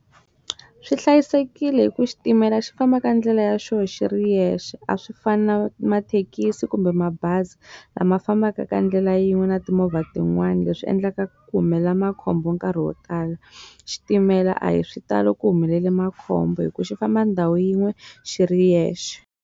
Swi hlayisekile hi ku xitimela xi famba ka ndlela ya xoho xi ri yexe a swi fani na mathekisi kumbe mabazi lama fambaka ka ndlela yin'we na timovha tin'wani leswi endlaka ku humelela makhombo nkarhi wo tala xitimela a hi swi talo ku humelele makhombo hi ku xi famba ndhawu yin'we xi ri yexe.